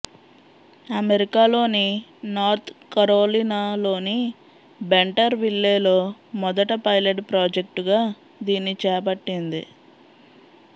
అమెరికాలోని నార్త్ కరోలినాలోని బెంటర్ విల్లేలో మొదట పైలట్ ప్రాజెక్టుగా దీన్ని చేపట్టింది